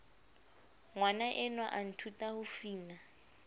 ngwanaenwa a nthuta ho fina